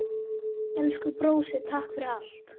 Elsku brósi, takk fyrir allt.